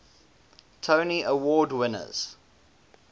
tony award winners